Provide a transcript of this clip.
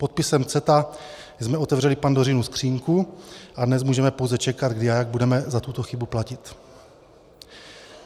Podpisem CETA jsme otevřeli Pandořinu skříňku a dnes můžeme pouze čekat, kdy a jak budeme za tuto chybu platit.